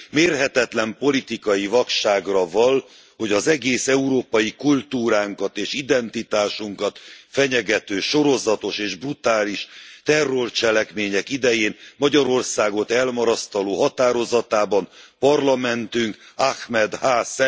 Mérhetetlen politikai vakságra vall, hogy az egész európai kultúránkat és identitásunkat fenyegető, sorozatos és brutális terrorcselekmények idején Magyarországot elmarasztaló állásfoglalásában Parlamentünk Ahmed H.